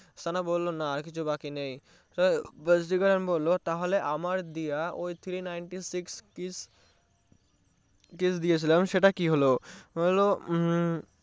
সানা বললো না আর কিছু বাকী নেই তো ভাসিকারান বললো আমার দেয়া সেই three ninety six kiss kiss দিয়েছিলাম সেটার কি হলো বললো উম